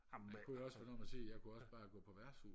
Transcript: jeg kunne også være dum og sige jeg kunne også bare gå på værtshus